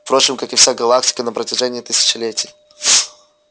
впрочем как и вся галактика на протяжении тысячелетий